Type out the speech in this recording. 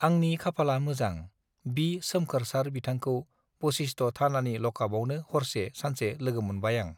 आंनि खाफाला मोजां बि सोमखोर सार बिथांखौ बशिष्ट थानानि लकापआवनो हरसे सानसे लोगोमोनबाय आं